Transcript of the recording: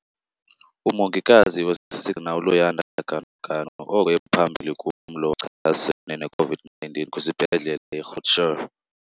Umongikazi osisigxina uLuyanda Ganuganu oko ephambili kumlo ochasene ne-COVID-19 kwisiBhedlele i-Groote Schuur.